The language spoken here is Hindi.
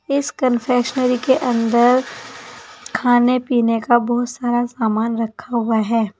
इस कंफेक्शनरी के अंदर खाने पीने का बहुत सारा सामान रखा हुआ है।